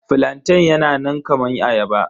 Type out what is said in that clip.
Flantain yana nan kaman ayaba.